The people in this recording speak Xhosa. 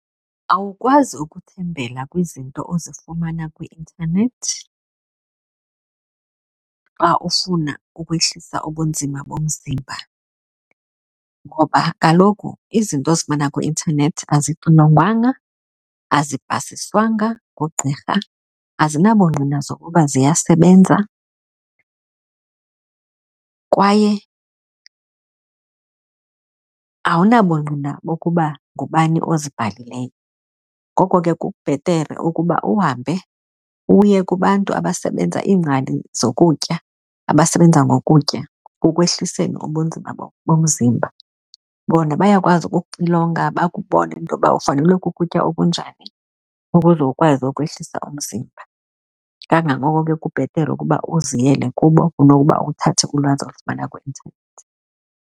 Awukwazi ukuthembela kwizinto uzifumana kwi-intanethi xa ufuna ukwehlisa ubunzima bomzimba ngoba kaloku izinto uzifumana kwi-intanethi azixilongwanga, azipasiswanga ngugqirha, azinabungqina zokuba ziyasebenza kwaye awunabungqina bokuba ngubani ozibhalileyo. Ngoko ke kubhetere ukuba uhambe uye kubantu abasebenza, iingcali zokutya abasebenza ngokutya kokwehliswa ubunzima bomzimba. Bona bayakwazi ukuxilonga bakubone intoba ufanelwe kukutya okunjani ukuze ukwazi ukwehlisa umzimba. Kangangoko ke kubhetere ukuba uziyele kubo kunokuba uthathe ulwazi olifumana kwi-internet.